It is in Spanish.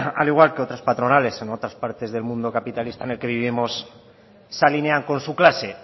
al igual que otras patronales en otras partes del mundo capitalista en el que vivimos se alinean con su clase